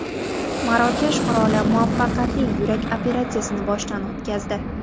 Marokash qiroli muvaffaqiyatli yurak operatsiyasini boshidan o‘tkazdi.